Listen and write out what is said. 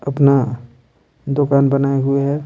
अपना दुकान बनाये हुए है।